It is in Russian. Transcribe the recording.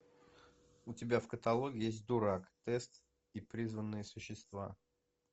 у тебя в каталоге есть дурак тест и призванные существа